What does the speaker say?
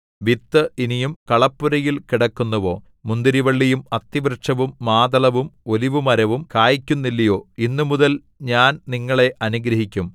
വിത്ത് ഇനിയും കളപ്പുരയിൽ കിടക്കുന്നുവോ മുന്തിരിവള്ളിയും അത്തിവൃക്ഷവും മാതളവും ഒലിവുമരവും കായ്ക്കുന്നില്ലയോ ഇന്നുമുതൽ ഞാൻ നിങ്ങളെ അനുഗ്രഹിക്കും